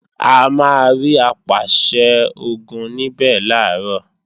A máa rí Apàṣẹ-Ogun níbẹ̀ làárọ̀